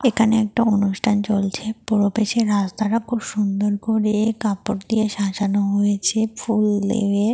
এখানে একটা অনুষ্ঠান চলছে। প্রবেশের রাস্তাটা খুব সুন্দর করে কাপড় দিয়ে সাজানো হয়েছে ফুল দিয়ে।